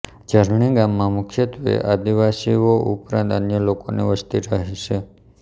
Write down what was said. ઝરણી ગામમાં મુખ્યત્વે આદિવાસીઓ ઉપરાંત અન્ય લોકોની વસ્તી રહે છે